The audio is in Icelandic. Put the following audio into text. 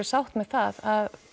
sátt með það að